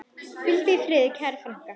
Hvíldu í friði, kæra frænka.